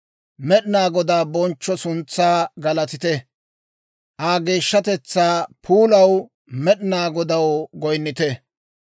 Med'inaa Godaa bonchcho suntsaa galatite; Aa geeshshatetsaa puulaw Med'inaa Godaw goyinnite.